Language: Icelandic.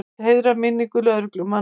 Vill heiðra minningu lögreglumanna